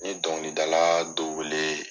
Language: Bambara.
N ye dɔnkilidala dɔ wele.